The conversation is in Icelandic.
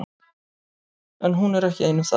En hún er ekki ein um það.